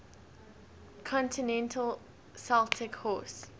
continental celtic horse